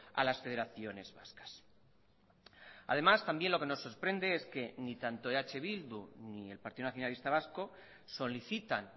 a las federaciones vascas además también lo que nos sorprende es que ni tanto eh bildu ni el partido nacionalista vasco solicitan